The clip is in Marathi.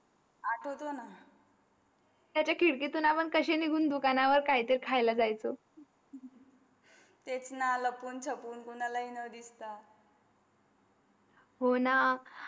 आठवतो ना त्याचा खिडकीतून आपण कसे निघून दुकानावर काही तरी खायला जायच तेच न लपून चापून कोणाला न दिसता हो ना.